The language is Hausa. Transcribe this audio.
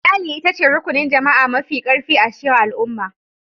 Iyali ita ce Rukunin Jama'a Mafi Karfi a cikin Al'umma.